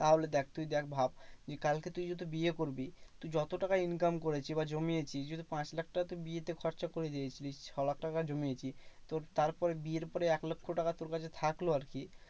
তাহলে দেখ তুই দেখ ভাব তুই কালকে তুই যেহেতু বিয়ে করবি, তুই যত টাকা income করেছি বা জমিয়েছি। যদি পাঁচ লাখ টাকা তোর বিয়েতে খরচা করে দিয়েছিলিস। ছ লাখ টাকা জমিয়েছিস। তো তার পরে বিয়ের পরে এক লক্ষ টাকা তোর কাছে থাকলো আরকি।